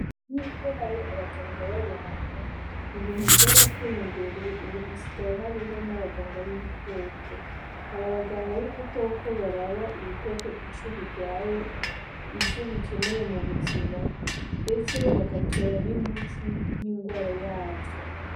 Nkuko hari abaganga b'abantu , Ibintu vyatarateye imbere ubu hasigaye hariho abaganga b'ibikoko, aba baganga b'ibikoko baraba ibikoko Ico birwaye ,ico bikeneye mubuhimba mbese bagatora n'imiti y'inrwara yavyo.